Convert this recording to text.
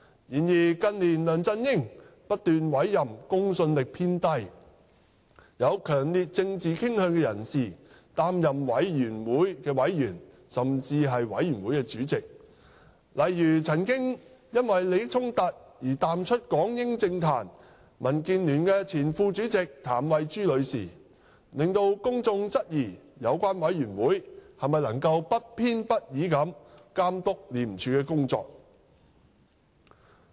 然而，近年梁振英不斷委任公信力偏低、有強烈政治傾向的人士擔任委員會委員，甚至委員會主席，例如曾因利益衝突而淡出港英政壇、民主建港協進聯盟前副主席譚惠珠女士，令公眾質疑有關委員會能否不偏不倚地監督廉署的工作。